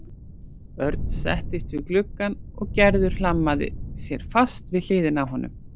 Örn settist við gluggann og Gerður hlammaði sér fast við hliðina á honum.